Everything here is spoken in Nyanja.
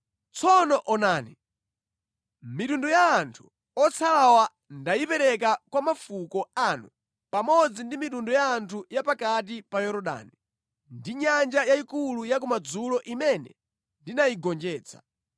Tsono onani! Mitundu ya anthu otsalawa ndayipereka kwa mafuko anu pamodzi ndi mitundu ya anthu ya pakati pa Yorodani ndi Nyanja Yayikulu ya kumadzulo imene ndinayigonjetsa.